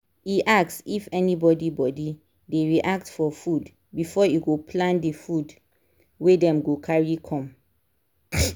e ask if anybody body dey react for food before e go plan the food wey them go carry come